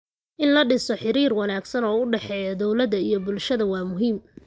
In la dhiso xiriir wanaagsan oo u dhexeeya dowladda iyo bulshada waa muhiim.